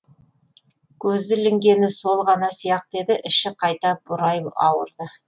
көзі ілінгені сол ғана сияқты еді іші қайта бұрай ауырды